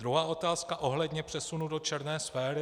Druhá otázka ohledně přesunu do černé sféry.